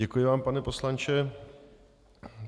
Děkuji vám, pane poslanče.